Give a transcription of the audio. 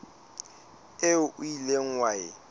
eo o ileng wa e